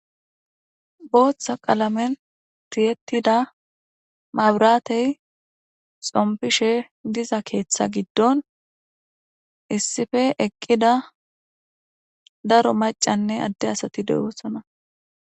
Booththa qalammiyan thiyeththida maabraathe tsomppishe diza keeththa giddon issippe eqqida daro maccanne adde asati de7oosona.